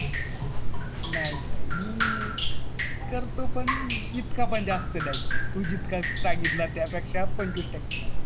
नाही नाही मी करतो पण इतका पण जास्त नाही तू जितका सांगितलं त्या पेक्षा पंचवीस टक्के